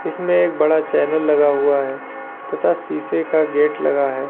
इसमें एक बड़ा चैनल लगा हुआ है तथा शीशे का गेट लगा है।